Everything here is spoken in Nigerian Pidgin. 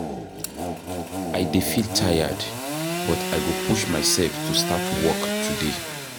I dey feel tired, but I go push myself to start work today.